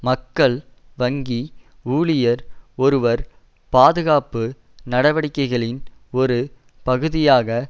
மக்கள் வங்கி ஊழியர் ஒருவர் பாதுகாப்பு நடவடிக்கைகளின் ஒரு பகுதியாக